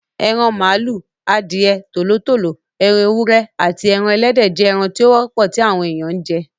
Eran màlúù, adìẹ, Tòló tòló, ẹran ewúrẹ́, aàti ẹran Ẹlẹ́dẹ̀ jẹ́ ẹran tí ó wọ́pọ̀ tí àwọn èèyàn ń jẹ.